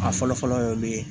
A fɔlɔ fɔlɔ ye mun ye